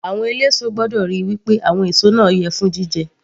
Àwọn eléso gbọ́dọ̀ ríi wí pé àwọn èso náà yẹ fún jíjẹ